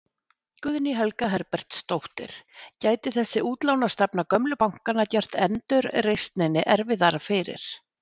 Guðný Helga Herbertsdóttir: Gæti þessi útlánastefna gömlu bankanna gert endurreisninni erfiðara fyrir?